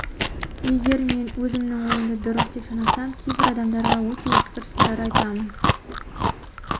егер мен өзімнің ойымды дұрыс деп санасам кейбір адамдарға өте өткір сындар айтамын